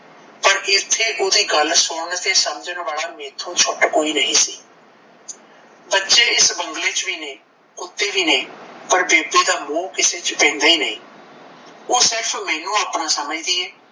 ਪਰ ਐਥੇ ਓਹਦੀ ਗੱਲ ਸੁਣਨ ਤੇ ਸਮਝਣ ਵਾਲਾ ਮੈਥੋਂ ਛੂਟ ਕੋਈ ਵੀ ਨਹੀਂ ਸੀ ਬੱਚੇ ਇਸ ਬੰਗਲੇ ਚ ਵੀ ਨੇ ਕੁੱਤੇ ਵੀ ਨੇ ਪਰ ਬੇਬੇ ਦਾ ਮੋਹ ਕਿਸੇ ਚ ਪੈਂਦਾ ਹੀ ਨਹੀਂ ਓਹ ਸਿਰਫ਼ ਮੈਨੂੰ ਆਪਣਾ ਸਮਝਦੀ ਏ